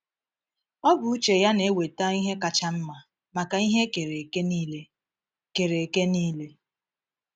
Ọ bụ uche Ya na-eweta ihe kacha mma maka ihe e kere eke niile. kere eke niile.